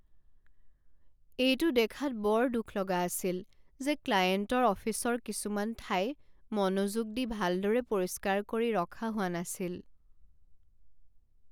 এইটো দেখাত বৰ দুখ লগা আছিল যে ক্লায়েণ্টৰ অফিচৰ কিছুমান ঠাই মনোযোগ দি ভালদৰে পৰিষ্কাৰ কৰি ৰখা হোৱা নাছিল।